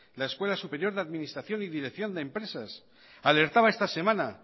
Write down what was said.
la escuela superior de administración y dirección de empresas alertaba esta semana